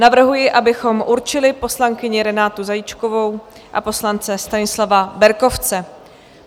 Navrhuji, abychom určili poslankyni Renátu Zajíčkovou a poslance Stanislava Berkovce.